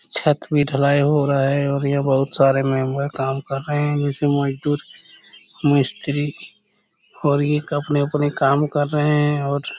छत भी ढलाई हो रहा है और ये बहुत सारे मेंबर काम कर रहे है नीचे मजदूर मिस्त्री और ये अपने-अपने काम कर रहे है और--